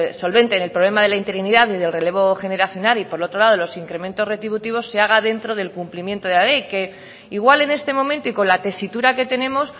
solventen el problema de la interinidad y en el relevo generacional y por otro lado los incrementos retributivos se haga dentro del cumplimiento de la ley que igual en este momento y con la tesitura que tenemos